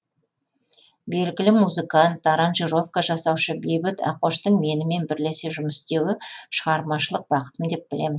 белгілі музыкант аранжировка жасаушы бейбіт ақоштың менімен бірлесе жұмыс істеуі шығармашылық бақытым деп білемін